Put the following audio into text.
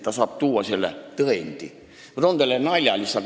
Ma toon teile lihtsalt ühe nalja.